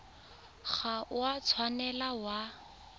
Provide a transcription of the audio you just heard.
ga o a tshwanela wa